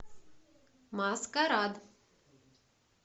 маскарад